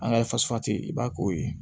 An ka i b'a k'o ye